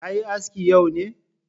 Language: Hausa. Ka yi aski yau ne?